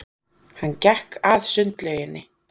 Hann gekk að sundlauginni.